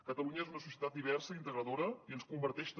catalunya és una societat diversa i integradora i ens converteix també